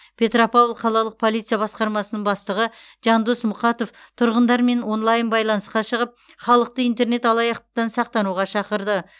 петропавл қалалық полиция басқармасының бастығы жандос мұқатов тұрғындармен онлайн байланысқа шығып халықты интернет алаяқтықтан сақтануға шақырды